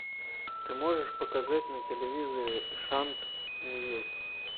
ты можешь показать на телевизоре шант ньюс